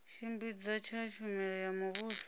tshimbidza tsha tshumelo ya muvhuso